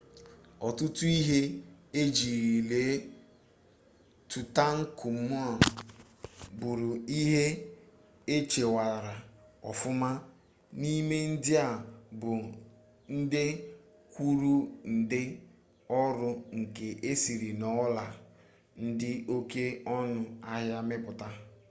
ọtụtụ ihe ejiri lie tụtankamun bụrụ ihe echekwara ọfụma n'ime ndị a bụ nde kwuru nde ọrụ nka esiri n'ọla dị oke ọnụ ahịa mepụta